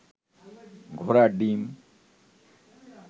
ঘোড়ার ডিম